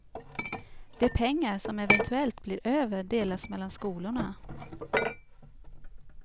De pengar som eventuellt blir över delas mellan skolorna.